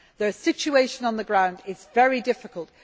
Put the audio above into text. The situation on the ground is very difficult.